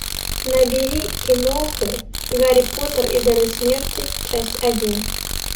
набери киноху гарри поттер и дары смерти часть один